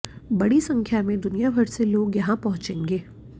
बड़ी संख्या में दुनियाभर से लोग यहां पहुंचेंगे